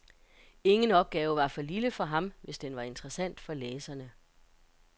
Ingen opgave var for lille for ham, hvis den var interessant for læserne.